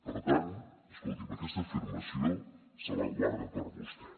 per tant escolti’m aquesta afirmació se la guarda per a vostè